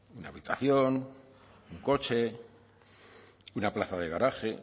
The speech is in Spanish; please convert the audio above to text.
una habitación un coche una plaza de garaje